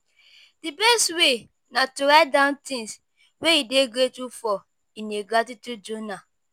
di best way na to write down things wey you dey grateful for in a gratitude journal.